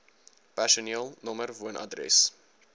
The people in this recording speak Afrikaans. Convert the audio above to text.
personeel nr woonadres